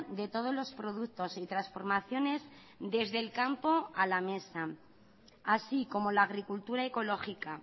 de todos los productos y transformaciones desde el campo a la mesa así como la agricultura ecológica